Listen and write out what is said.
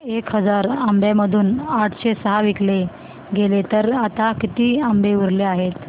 एक हजार आंब्यांमधून आठशे सहा विकले गेले तर आता किती आंबे उरले आहेत